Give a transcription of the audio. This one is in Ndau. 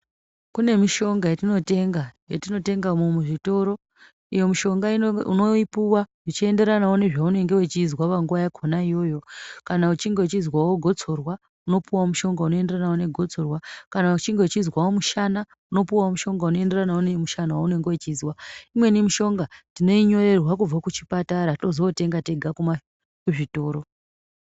Kune mishonga yatinotenga, yatinotengamo muzvitoro. Iyo mishonga unoipuwa zvichienderanawo nezvaunenge wechizwa panguva yakona iyoyo. Kana uchinge uchizwawo gotsorwa unopuwawo mushonga unoenderanawo negotsorwa. Kana uchinge uchizwawo mushana, unopuwawo mushonga unoenderanawo nemushana waunenga wechizwa. Imweni mishonga tinoinyorerwa kubva kuchipatara tozootenga tega kuzvitoro.